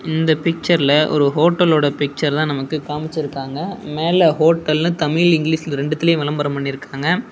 இந்த பிச்சர்ல ஒரு ஹோட்டலோட பிச்சர்தா நமக்கு காமிச்சிருக்காங்க மேல ஹோட்டல்னு தமிழ் இங்கிலிஷ் ரெண்டுத்துலயு வெளம்பரம் பண்ணிருக்காங்க.